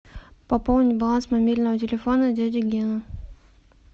пополнить баланс мобильного телефона дяди гены